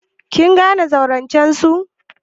Kin gane zaurancen su?